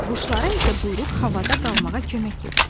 Quşlara isə quyruq havada qalmağa kömək edir.